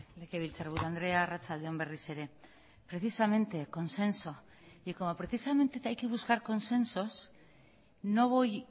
legebiltzarburu andrea arratsalde on berriz ere precisamente consenso y como precisamente hay que buscar consensos no voy